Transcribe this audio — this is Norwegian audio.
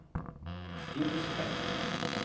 drivhuseffekt